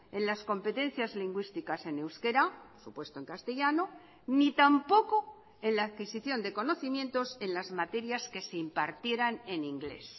en las competencias lingüísticas en euskera supuesto en castellano ni tampoco en la adquisición de conocimientos en las materias que se impartieran en inglés